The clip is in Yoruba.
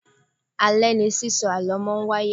Alẹ̀ ní sísọ àlọ́ máa ń wáyé